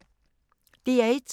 DR1